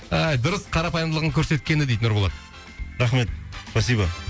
а ай дұрыс қарапайымдылығын көрсеткені дейді нұрболат рахмет спасибо